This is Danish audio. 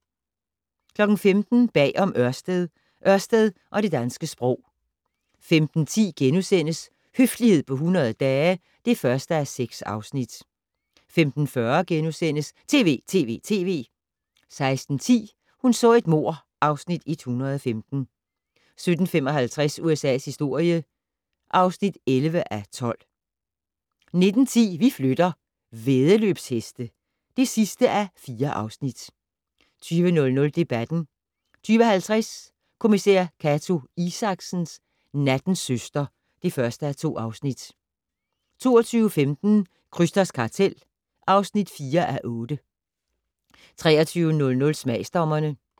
15:00: Bag om Ørsted - Ørsted og det danske sprog 15:10: Høflighed på 100 dage (1:6)* 15:40: TV!TV!TV! * 16:10: Hun så et mord (Afs. 115) 17:55: USA's historie (11:12) 19:10: Vi flytter - væddeløbsheste (4:4) 20:00: Debatten 20:50: Kommissær Cato Isaksen: Nattens søster (1:2) 22:15: Krysters kartel (4:8) 23:00: Smagsdommerne